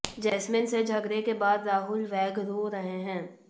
jasmine से झगड़े के बाद राहुल वैद्य रो रहे हैं